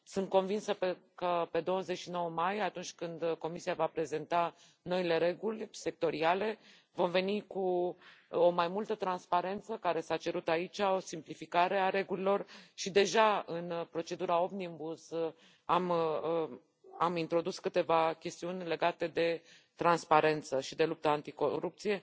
Sunt convinsă că pe 29 mai, atunci când Comisia va prezenta noile reguli sectoriale, vom veni cu mai multă transparență, care s a cerut aici, o simplificare a regulilor și, deja în procedura Omnibus, am introdus câteva chestiuni legate de transparență și de lupta anticorupție,